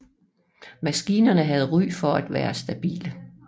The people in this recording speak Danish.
Maskinerne havde ry for at være stabile